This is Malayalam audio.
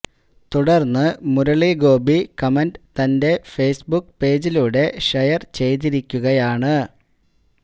തുടർന്ന് മുരളി ഗോപി കമന്റ് തന്റെ ഫേസ്ബുക്ക് പേജിലൂടെ ഷെയർ ചെയ്തിരിക്കുകയാണ്